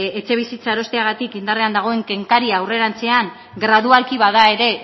etxebizitza erosteagatik indarrean dagoen kenkaria aurrerantzean gradualki bada ere